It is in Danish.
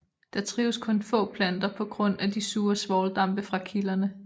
Der trives kun få planter på grund af de sure svovldampe fra kilderne